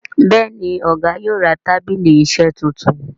Béèni Ọgá yóò rà tábìlì iṣe títún.